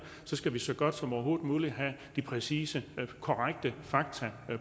skal man så godt som overhovedet muligt have de præcise og korrekte fakta